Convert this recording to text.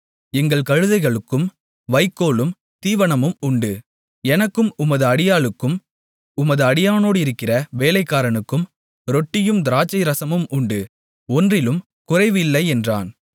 எங்கள் கழுதைகளுக்கு வைக்கோலும் தீவனமும் உண்டு எனக்கும் உமது அடியாளுக்கும் உமது அடியானோடிருக்கிற வேலைக்காரனுக்கும் ரொட்டியும் திராட்சை ரசமும் உண்டு ஒன்றிலும் குறைவில்லை என்றான்